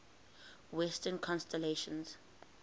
western constellations